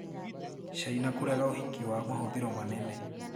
caina kũrega ũhiki wa mahũthĩro manene